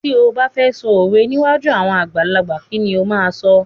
Ti ó ba fẹ sọ òwe níwájú àwọn àgbàlagbà, kí ni ó máa sọ?